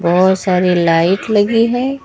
बहुत सारी लाइट लगी है।